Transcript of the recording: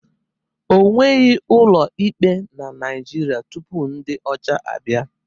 O nweghị ụlọ ikpe na Naịjirịa tupu ndị ọcha abịa